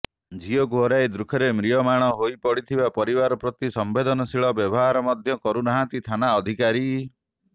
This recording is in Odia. ଝିଅକୁ ହରାଇ ଦୁଃଖରେ ମ୍ରିୟମାଣ ହୋଇ ପଡ଼ିଥିବା ପରିବାର ପ୍ରତି ସମ୍ବେଦନଶୀଳ ବ୍ୟବହାର ମଧ୍ୟ କରୁନାହାନ୍ତି ଥାନା ଅଧିକାରୀ